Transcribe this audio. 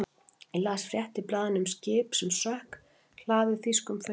Ég las frétt í blaðinu um skip sem sökk, hlaðið þýskum föngum.